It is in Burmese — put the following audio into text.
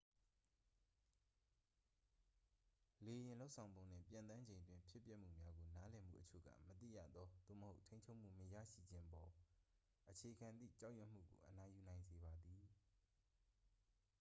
လေယာဉ် လုပ်ဆောင်ပုံနှင့် ပျံသန်းချိန်အတွင်း ဖြစ်ပျက်မှုများကို နားလည်မှု အချို့က မသိရသော သို့မဟုတ် ထိန်းချုပ်မှု မရှိခြင်းအပေါ် အခြေခံသည့် ကြောက်ရွံ့မှုကို အနိုင်ယူနိုင်စေပါသည်